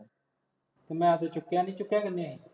ਮੈਂ ਤਾਂ ਚੁੱਕਿਆ ਨਹੀਂ, ਚੁੱਕਿਆ ਕਿਹਨੇ ਆ